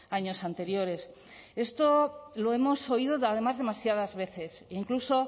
años anteriores esto lo hemos oído además demasiadas veces incluso